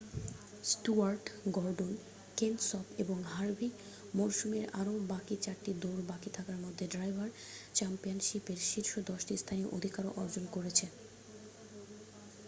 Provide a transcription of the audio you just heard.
Stewart Gordon Kenseth এবং Harvick মরসুমের আরও বাকি চারটি দৌড় বাকি থাকার মধ্যে ড্রাইভার চ্যাম্পিয়নশিপ এ শীর্ষ দশটি স্থানে অধিকার অর্জন করেছে